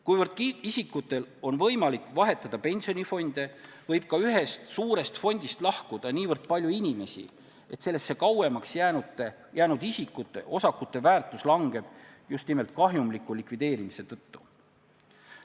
Kuivõrd isikutel on võimalik vahetada pensionifonde, võib ka ühest suurest fondist lahkuda niivõrd palju inimesi, et sellesse kauemaks jäänud isikute osakute väärtus väheneb just nimelt kahjumliku likvideerimise tõttu.